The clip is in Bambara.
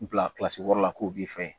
Bila wɔɔrɔ la k'o b'i fɛ